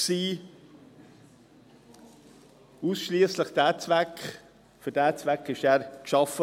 Er wurde ausschliesslich für diesen Zweck geschaffen.